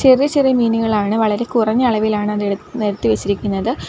ചെറിയ ചെറിയ മീനുകളാണ് വളരെ കുറഞ്ഞ അളവിലാണ് അത് എട് നിരത്തി വെച്ചിരിക്കുന്നത്.